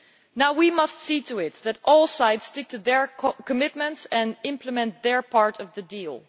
Now we must see to it that all sides stick to their commitments and implement their part of the deal.